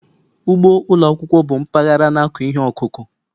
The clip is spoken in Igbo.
Ugbo ụlọ akwụkwọ bụ mpaghara na-akụ ihe ọkụkụ